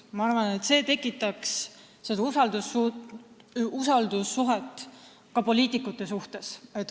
Ma arvan, et see tekitaks usaldust ka poliitikute vastu.